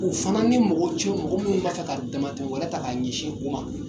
U fana ni mɔgɔ cɛ mɔgɔ minnu b'a fɛ ka dama tɛmɛ wɛrɛ ta k'a ɲɛsin u ma